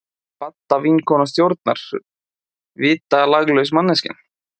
Badda vinkona stjórnar, vitalaglaus manneskjan!